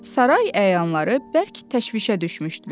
Saray əyanları bərk təşvişə düşmüşdülər.